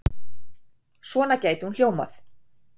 Svona gæti hún hljómað